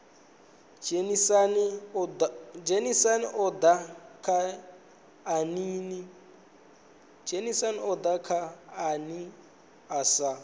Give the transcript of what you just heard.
dzhenisa oda kha aini na